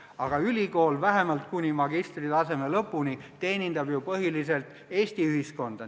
Aga ülikool vähemalt magistritaseme lõpuni teenindab ju põhiliselt Eesti ühiskonda.